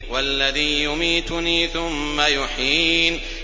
وَالَّذِي يُمِيتُنِي ثُمَّ يُحْيِينِ